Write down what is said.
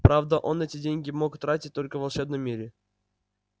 правда он эти деньги мог тратить только в волшебном мире